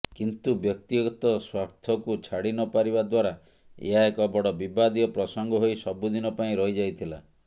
କିନ୍ତୁ ବ୍ୟକ୍ତିଗତ ସ୍ୱାର୍ଥକୁ ଛାଡିନପାରିବା ଦ୍ୱାରା ଏହା ଏକ ବଡ ବିବାଦୀୟ ପ୍ରସଙ୍ଗ ହୋଇ ସବୁଦିନ ପାଇଁ ରହିଯାଇଥିଲା